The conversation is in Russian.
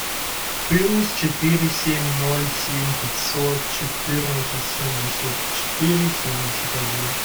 плюс четыре семь ноль семь пятьсот четырнадцать семьдесят четыре семьдесят один